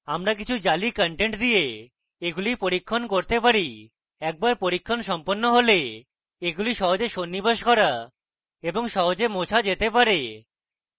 আমরা কিছু জালি content দিয়ে এগুলি পরীক্ষণ করতে পারি একবার পরীক্ষণ সম্পন্ন হলে এগুলি সহজে সন্নিবেশ করা এবং সহজে মোছা যেতে পারে